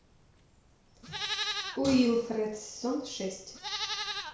уилфред сезон шесть